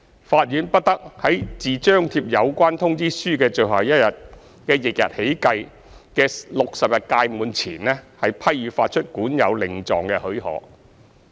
法院不得在自張貼有關通知書的最後一日的翌日起計的60日屆滿前，批予發出管有令狀的許可。